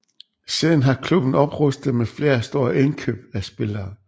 Siden har klubben oprustet med flere store indkøb af spillere